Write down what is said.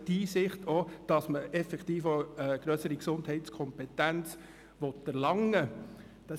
Es braucht die Einsicht, dass man eine grössere Gesundheitskompetenz erlangen soll.